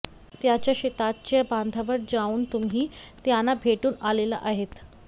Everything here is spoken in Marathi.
त्यांच्या शेताच्या बांधावर जाऊन तुम्ही त्यांना भेटून आलेला आहात